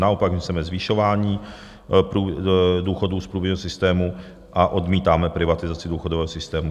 Naopak my chceme zvyšování důchodů z průběžného systému a odmítáme privatizaci důchodového systému.